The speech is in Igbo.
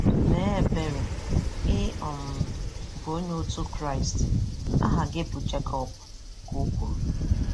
"Mee ebere, ị um bụ ónyé ọtú Christ, aha gị bụ Jacob," ka ọ kwụrụ.